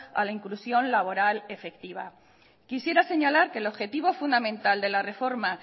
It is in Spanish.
a la inclusión laboral efectiva quisiera señalar que el objetivo fundamental de la reforma